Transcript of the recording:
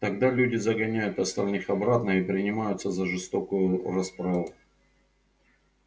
тогда люди загоняют остальных обратно и принимаются за жестокую расправу